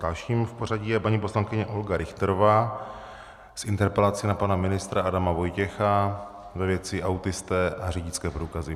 Dalším v pořadím je paní poslankyně Olga Richterová s interpelací na pana ministra Adama Vojtěcha ve věci autisté a řidičské průkazy.